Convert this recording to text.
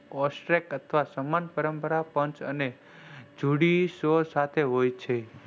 AUSTRAC અથવા સામાન્દ્ય પરમ્પરા પાંચ અથવા જોડી સોર સાથે હોય છે.